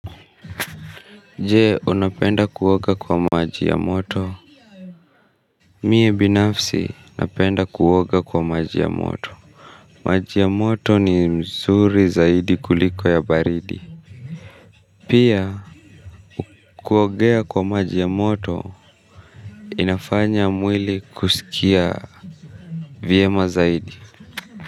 Je, unapenda kuwoga kwa maji ya moto. Mie binafsi, unapenda kuwoga kwa maji ya moto maji ya moto ni muzuri zaidi kuliko ya baridi. Pia, kuwogea kwa maji ya moto, inafanya mwili kusikia vyema zaidi.